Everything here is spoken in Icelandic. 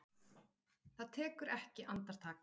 Það tekur ekki andartak.